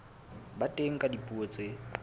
ba teng ka dipuo tse